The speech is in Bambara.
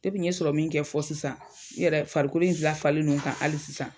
n ye in kɛ fɔ sisan, n yɛrɛ farikolo in lafalen don n ka hali sisan.